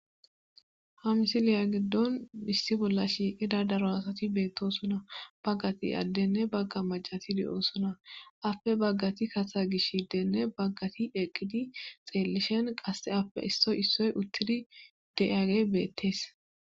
ha misiliya giddon missi bolla shiiqida daro asati beettosuna baggati addenne bagga macati di7oosuna appe baggati kata gish hiddenne baggati eqqidi xeellishen qasse appe issoy issoy uttidi de7age beettees